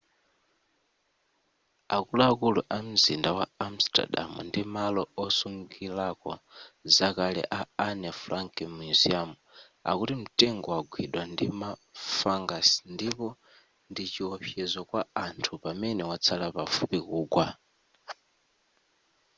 akuluakulu a mzinda wa amsterdam ndi malo osungirako zakale a anne frank museum akuti mtengowo wagwidwa ndima fungus ndipo ndi chiwopsezo kwa anthu pamene watsala pafupi kugwa